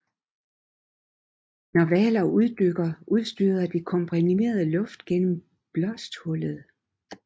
Når hvaler uddykker udstøder de komprimeret luft gennem blåsthullet